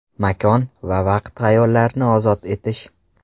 Makon, vaqt va xayollarni ozod etish!